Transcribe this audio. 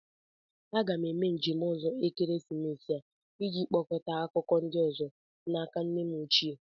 M ga-eme njem ọzọ ekeresimesi a iji kpokọta akụkọ ndị ọzọ n'aka nne m ochie